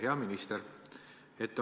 Hea minister!